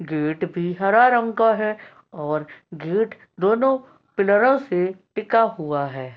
Gate भी हरा रंग का है और गेट दोनों पिलरो से टिका हुआ है।